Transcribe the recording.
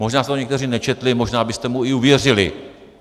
Možná jste to někteří nečetli, možná byste mu i uvěřili.